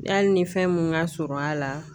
Yali ni fɛn mun ka surun a la.